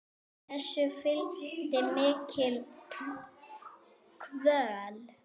Þessu fylgdi mikil kvöl.